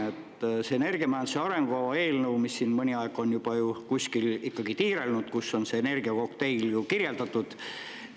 Selles energiamajanduse arengukava eelnõus, mis on juba mõnda aega kuskil tiirelnud, on energiakokteil ära kirjeldatud.